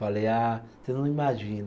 Falei, ah, você não imagina.